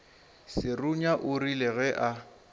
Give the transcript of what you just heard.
serunya o rile ge a